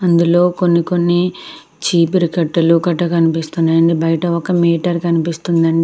అందులో కొన్ని కొన్ని చీపురు కట్టలు కట్ట కనిపిస్తున్నాయండీ. బయట ఒక మీటర్ కనిపిస్తుందండి.